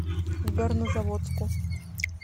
горнозаводску